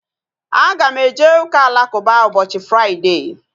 Aga m eje ụka alakụba ụbọchị Fraịdee